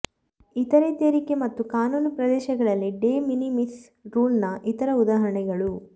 ಇತರೆ ತೆರಿಗೆ ಮತ್ತು ಕಾನೂನು ಪ್ರದೇಶಗಳಲ್ಲಿ ಡೆ ಮಿನಿಮಿಸ್ ರೂಲ್ನ ಇತರ ಉದಾಹರಣೆಗಳು